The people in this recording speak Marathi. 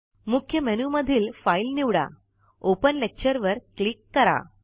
मुख्य मेनू मधील फाइल निवडा open लेक्चर वर क्लिक करा